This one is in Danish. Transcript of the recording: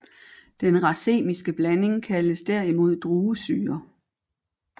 Den racemiske blanding kaldes derimod druesyre